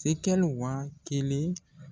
Sikɛli wa kelen